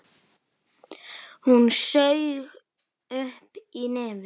Hún saug upp í nefið.